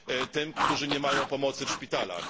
tym, którzy nie mają pomocy w szpitalach.